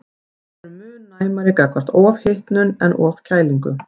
Við erum mun næmari gagnvart ofhitnun en ofkælingu.